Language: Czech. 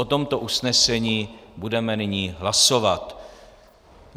O tomto usnesení budeme nyní hlasovat.